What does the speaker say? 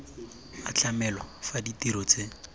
a tlamelwa fa ditiro tse